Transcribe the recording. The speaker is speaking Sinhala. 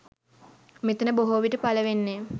මෙතන බොහෝවිට පලවෙන්නේ